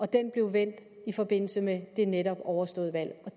den blev vendt i forbindelse med det netop overståede valg